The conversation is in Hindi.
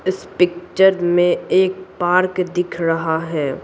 इस पिक्चर में एक पार्क दिख रहा है।